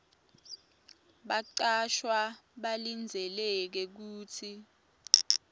bacashwa balindzeleke kutsi